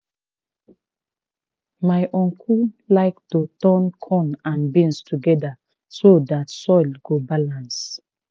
my uncle like to turn corn and beans together so dat soil go balance.